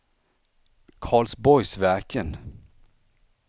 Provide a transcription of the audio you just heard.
Karlsborgsverken